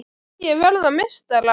Hverjir verða meistarar?